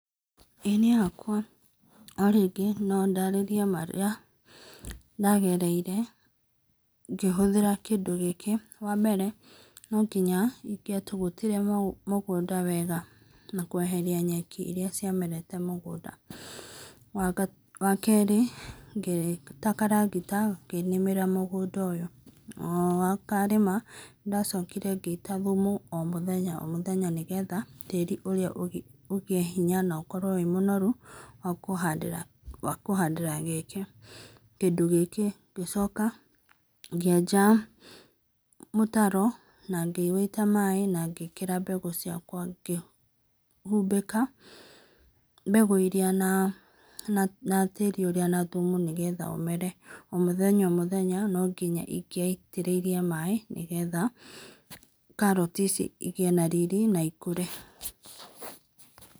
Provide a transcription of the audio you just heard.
Ĩĩ niĩ hakwa o rĩngĩ no ndararĩe marĩa ndagereire ngĩhũthĩra kĩndũ gĩkĩ, wa mbere no ngĩnya ĩgatũgũtĩre mũgũnda wega na kũeherĩa nyekĩ ĩra ciamerete mũgũnda. Wa kerĩ gĩta karagita gakĩnĩmĩra mũgũnda ũyũ o karĩma nĩndacokĩre gĩita thũmũ o mũthenya o mũthenya nĩgetha tarĩ ũrĩa ũkorwo wĩ mũnorũ wa kũhandĩra kĩndũ gĩkĩ, gĩcoka gĩenja mũtaro na gĩwĩita maĩ na gĩ ikĩra mbegũ ciakwa na gĩhũmbĩka mbegũ ĩrĩa na tarĩ ũrĩ na thũmũ nĩgetha ũmere o mũthenya o mũthenya no ngĩnya ĩgaiterĩire maĩ nĩ getha karatĩ ici igĩe na rĩrĩ na ikũre.